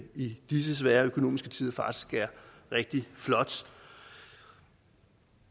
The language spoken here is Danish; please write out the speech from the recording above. i disse svære økonomiske tider er rigtig flot